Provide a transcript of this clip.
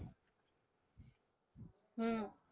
হুম।